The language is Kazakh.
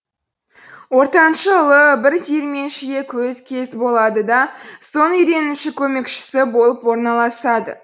ортаншы ұлы бір диірменшіге кез болады да соның үйренуші көмекшісі болып орналасады